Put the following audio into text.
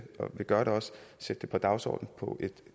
sætte det på dagsordenen på et